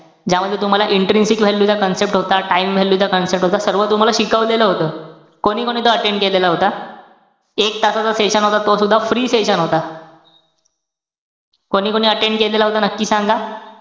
ज्यामध्ये तुम्हाला intrinsic value चा concept होता. Time value चा concept होता. सर्व तुम्हाला शिकवलेलं होतं. कोणीकोणी तो attend केलेला होता? एक तासाचा session होता, तो सुद्धा free होता. कोणीकोणी attend केलेला होता, नक्की सांगा.